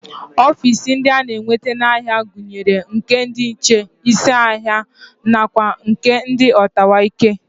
Ofiisi ndị a na-enweta n'ahịa gụnyere nke ndị nche, isi ahịa nakwa nke ndị ọtawaike